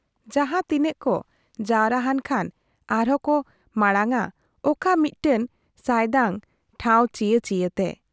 ᱡᱟᱦᱟᱸ ᱛᱤᱱᱟᱹᱜ ᱠᱚ ᱡᱟᱣᱨᱟ ᱦᱟᱱ ᱠᱷᱟᱱ ᱟᱨᱦᱚᱸ ᱠᱚ ᱢᱟᱬᱟᱝ ᱟ ᱚᱠᱟ ᱢᱤᱫᱴᱟᱹᱝ ᱥᱟᱭᱫᱟᱝ ᱴᱷᱟᱶ ᱪᱤᱭᱟᱹ ᱪᱤᱭᱟᱹᱛᱮ ᱾